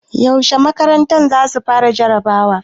Yaushe makarantar za su fara jarabawa?